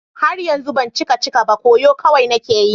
Har yanzu ban cika cika ba, koyo kawai nake yi.